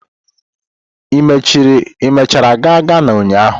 Ị mechara gaa Ghana ụnyahụ?